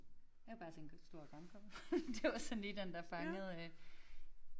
Jeg har bare tænker stor grankonge det var sådan lige den der fangede